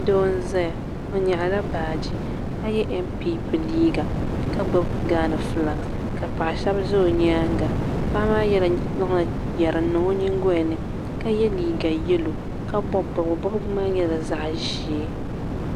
Doo n zaya o nyaɣila baaji ka ye npp liiga ka gbibi gaana filaaki ka paɣa sheba za o nyaanga paɣa maa zaŋla yeri n niŋ o nyingolini ka ye liiga yelo ka bobi bobga bobga maa nyɛla zaɣa ʒee.